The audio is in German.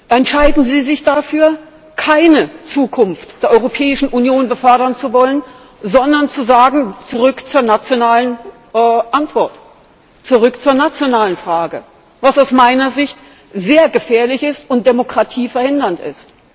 entscheiden sie sich dafür, keine Zukunft der Europäischen Union befördern zu wollen, sondern zu sagen Zurück zur nationalen Antwort, zurück zur nationalen Frage, was aus meiner Sicht sehr gefährlich und Demokratie verhindernd ist.